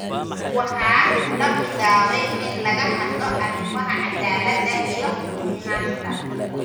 Waxaa la bilaabay in laga hadlo arrimaha cadaaladda iyo sinaanta.